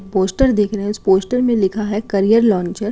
Poster दिख रहा है। इस पोस्टर में लिखा है करियर लॉन्चर ।